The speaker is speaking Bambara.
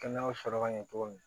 Kɛnɛya sɔrɔ ka ɲɛ cogo min na